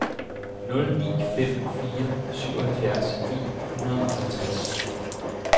nul ni fem fire syvoghalvfjerds ni hundrede og halvtreds